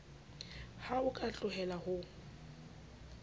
ha o ka tlohella ho